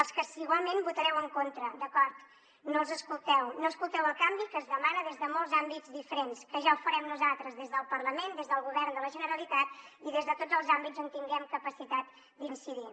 els que igualment hi votareu en contra d’acord no els escolteu no escolteu el canvi que es demana des de molts àmbits diferents que ja ho farem nosaltres des del parlament des del govern de la generalitat i des de tots els àmbits on tinguem capacitat d’incidir